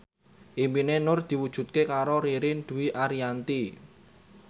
impine Nur diwujudke karo Ririn Dwi Ariyanti